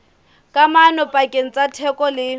kamano pakeng tsa theko le